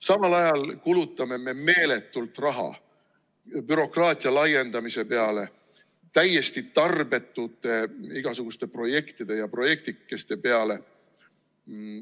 Samal ajal kulutame me meeletult raha bürokraatia laiendamise peale, täiesti tarbetute igasuguste projektide ja projektikeste peale.